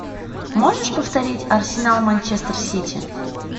можешь повторить арсенал манчестер сити